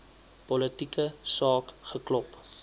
politieke saak geklop